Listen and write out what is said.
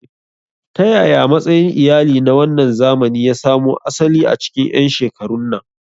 Ta yaya matsayin iyali na wannan zamani ya samo asali a cikin 'yan shekarun nan?